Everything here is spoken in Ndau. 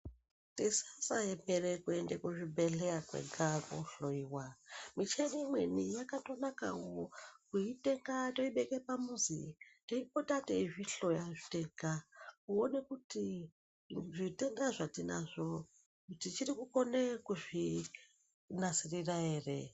Tisasaemera kuenda kuzvibhedhlera kwega kohloiwa, muchini imwene yakanaka kuitenga kwakuibeka pamuzi teipota teizvihloya tega. Kuiona kuti zvitenda zvatinazvo tichiri kukone kuzvinasirira ere.